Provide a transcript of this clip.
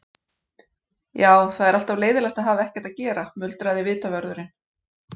Já, það er alltaf leiðinlegt að hafa ekkert að gera muldraði vitavörðurinn.